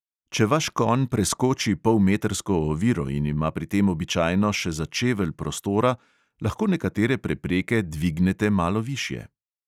Če vaš konj preskoči polmetrsko oviro in ima pri tem običajno še za čevelj prostora, lahko nekatere prepreke dvignete malo višje.